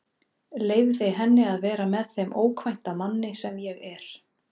Leyfði henni að vera með þeim ókvænta manni sem ég er.